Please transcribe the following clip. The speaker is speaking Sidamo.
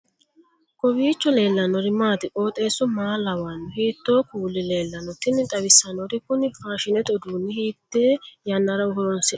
kowiicho leellannori maati ? qooxeessu maa lawaanno ? hiitoo kuuli leellanno ? tini xawissannori kuni faashshinete uduunni hiite yannara horoonisi'nanniho